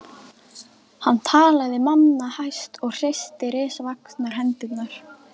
Hann talaði manna hæst og hristi risavaxnar hendurnar.